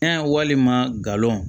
walima galon